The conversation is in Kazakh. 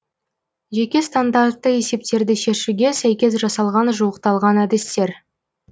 жеке стандартты есептерді шешуге сәйкес жасалған жуықталған әдістер